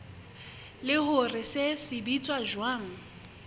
le hore se sebetsa jwang